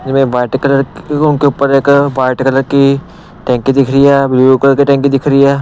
में white colour उनके ऊपर एक वाइट कलर की टैंकी दिख रही है ब्लू कलर की टैंकी दिख रही है।